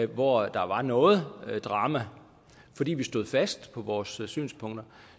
hvor der var noget drama fordi vi stod fast på vores synspunkter